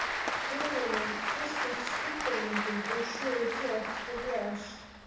Hugur minn fylltist skuggamyndum úr sögu flokks og blaðs.